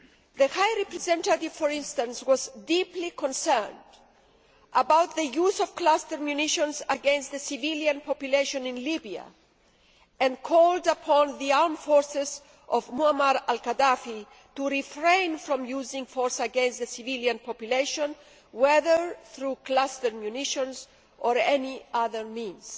The High Representative, for instance, was deeply concerned about the use of cluster munitions against the civilian population in Libya and called upon the armed forces of Muammar Al Gaddafi to refrain from using force against the civilian population, whether through cluster munitions or any other means.